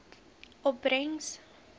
opbrengs